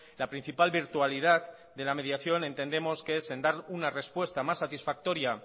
la principal virtualidad de la mediación entendemos que es en dar una respuesta más satisfactoria